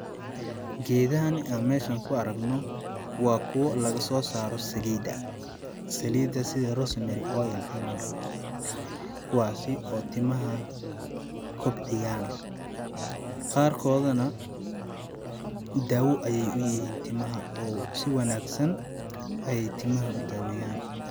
Geedahani aan meeshan ku aragno waa kuwa lagasoo saaro saliida ,saliida sida rose mary oil camal kuwaasi oo timaha kobciyaan qaarkooda na daawo ayeey u yihiin timaha oo si wanaagsan ayeey timaha u daaweyaan .